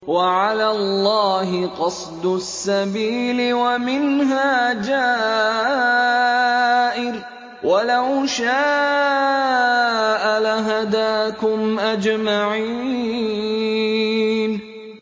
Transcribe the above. وَعَلَى اللَّهِ قَصْدُ السَّبِيلِ وَمِنْهَا جَائِرٌ ۚ وَلَوْ شَاءَ لَهَدَاكُمْ أَجْمَعِينَ